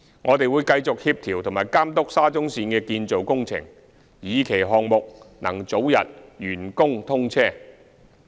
我們會繼續協調及監督沙中線的建造工程，以期項目能早日完工通車。